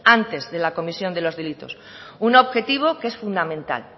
antes de la comisión de los delitos un objetivo que es fundamental